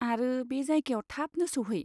आरो बे जायगायाव थाबनो सौहै।